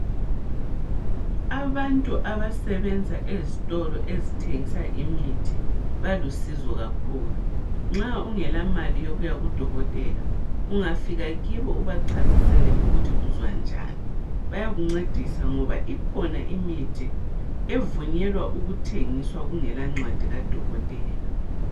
Abantu abasebenza ezitolo ezithengisa imithi balusizo kakhulu. Nxa ungela mali yokuya kudokotela ungafika kibo ubachasisele ukuthi uzwa njani. Bayakuncedisa ngoba ikhona imithi evunyelwa ukuthengiswa kungela ncwadi kadokotela.